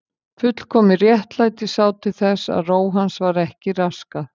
Fullkomið réttlæti sá til þess að ró hans var ekki raskað.